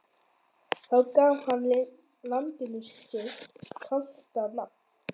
Þá gaf hann landinu sitt kalda nafn.